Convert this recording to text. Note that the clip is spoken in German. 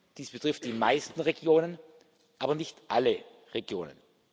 Dies betrifft die meisten Regionen, aber nicht alle Regionen.